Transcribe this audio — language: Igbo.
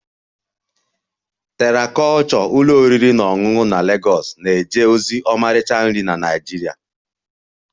Terra kulture ụlọ oriri na ọṅụṅụ na Lagos na-eje ozi ọmarịcha nri Naịjirịa